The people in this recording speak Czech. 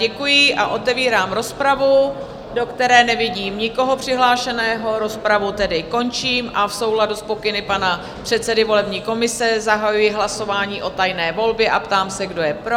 Děkuji a otevírám rozpravu, do které nevidím nikoho přihlášeného, rozpravu tedy končím a v souladu s pokyny pana předsedy volební komise zahajuji hlasování o tajné volbě a ptám se, kdo je pro?